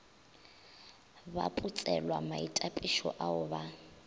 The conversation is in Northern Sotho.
ba putselwa maitapišo ao ba